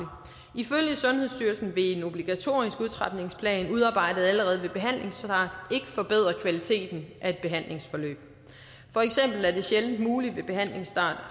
ifølge sundhedsstyrelsen vil en obligatorisk udtrapningsplan udarbejdet allerede ved behandlingsstart ikke forbedre kvaliteten af et behandlingsforløb for eksempel er det sjældent muligt ved behandlingsstart